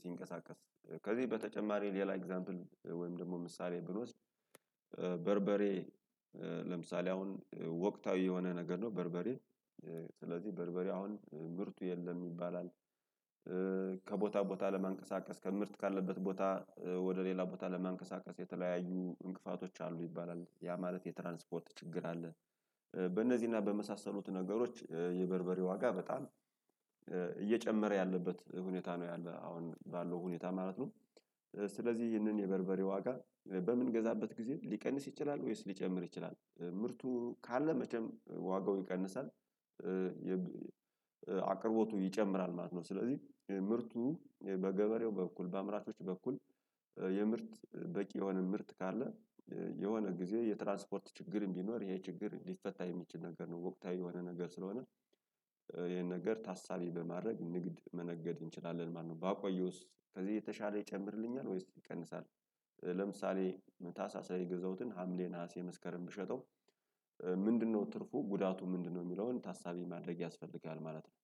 ሲንቀሳቀስ ከዚህ በተጨማሪ ሌላ ኤግዛምፕል ወይም ደግሞ ምሳሌ ብኖስድ በርበሬ ለምሳሌ አሁን ወቅታዊ የሆነ ነገር ነው በርበሬ ስለዚህ በርበሬ አሁን ምርቱ የለም ይባላል። ከቦታ ቦታ ለማንቀሳቀስ ከምርት ካለበት ቦታ ወደ ሌላ ቦታ ለመንቀሳቀስ የተለያዩ እንቅፋቶች አሉ ይባላል ያ ማለት የትራንስፖርት ችግር አለ። በእነዚህና በመሳሰሉት ነገሮች የበርበሬ ዋጋ በጣም እየጨመረ ያለበት ሁኔታ ነው ያለው አሁን ባለው ሁኔታ ማለት ነው። ስለዚህ ይህንን የበርበሬ ዋጋ በምንገዛበት ጊዜ ሊቀንስ ይችላል ወይስ ሊጨምር ይችላል? ምርቱ ካለ መቼም ዋጋው ይቀንሳል። አቅርቦቱ ይጨምራል ማለት ነው ስለዚህ ምርቱ በገበሬው በኩል በአምራቾች በኩል የምርት በቂ የሆነ ምርት ካለ የሆነ ጊዜ የትራንስፖርት ችግር ቢኖርም ይሄ ችግር እንዲፈታ የሚችል ነገር ነው። ወቅታዊ የሆነ ነገር ስለሆነ ይሄን ነገር ታሳቢ በማድረግ ንግድ መነገድ እንችላለን ማለት ነው። ባቆየውስ ከዚህ የተሻለ ይጨምርልኛል ወይስ ይቀንሳል? ለምሳሌ ታህሳስ ላይ የገዛሁትን ሀምሌ ነሀሴ መስከረም ብሸጠው ምንድነው ትርፉ ጉዳቱ ምንድነው? የሚለውን ታሳቢ ማድረግ ያስፈልጋል ማለት ነው።